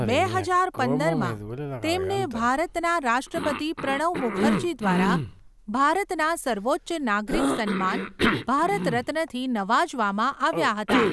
બે હજાર પંદરમાં, તેમને ભારતના રાષ્ટ્રપતિ પ્રણવ મુખર્જી દ્વારા ભારતના સર્વોચ્ચ નાગરિક સન્માન, ભારત રત્નથી નવાજવામાં આવ્યા હતા.